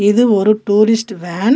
இது ஒரு tourist van .